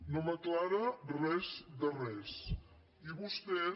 no m’aclareix res de res i vostès